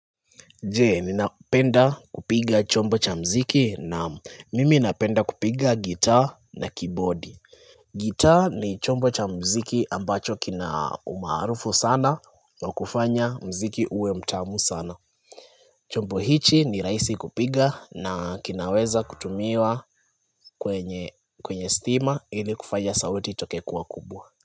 Je, ninapenda kupiga chombo cha muziki? Na'am, mimi napenda kupiga gitaa na kibodi. Gitaa ni chombo cha muziki ambacho kina umaarufu sana wa kufanya muziki uwe mtamu sana. Chombo hichi ni rahisi kupiga na kinaweza kutumiwa kwenye stima ili kufanya sauti itoke kuwa kubwa.